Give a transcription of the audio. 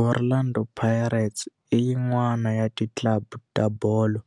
Orlando Pirates i yin'wana ya ti club ta bolo